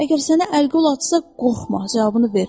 Əgər sənə əl qol atsa qorxma, cavabını ver.